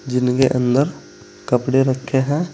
जिनके अंदर कपड़े रखे हैं।